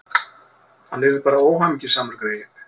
Hann yrði bara óhamingjusamur, greyið.